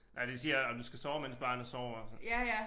Nej de siger også du skal sove mens barnet sover også